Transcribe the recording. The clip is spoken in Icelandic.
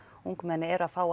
ungmenni eru að fá